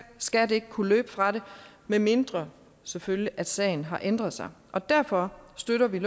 skat ikke kunne løbe fra det medmindre selvfølgelig at sagen har ændret sig og derfor støtter vi